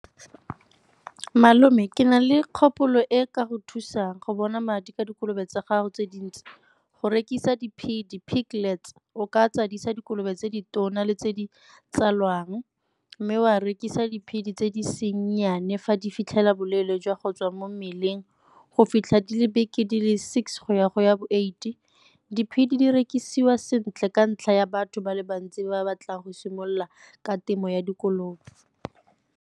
Malome ke na le kgopolo e ka go thusang go bona madi ka dikolobe tsa gago tse dintsi go rekisa di-piglet o ka tsadisa dikolobe tse di tona le tse di tsalwang mme o a rekisa di-pig-e tse di seng nnyane fa di fitlhela boleele jwa go tswa mo mmeleng go fitlha dile beke di le six go ya go ya bo eight-e. Di-pig-e di rekisiwa sentle ka ntlha ya batho ba le bantsi ba batlang go simolola ka temo ya dikolobe.